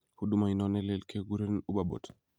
Huduma inon nelel keguren UberBoat.